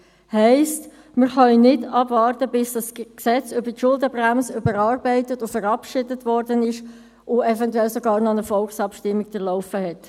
Heisst: Wir können nicht abwarten, bis das Gesetz über die Schuldenbremse überarbeitet und verabschiedet worden ist und eventuell sogar noch eine Volksabstimmung durchlaufen hat.